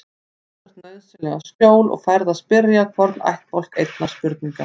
Þú þarft nauðsynlega skjól og færð að spyrja hvorn ættbálk einnar spurningar.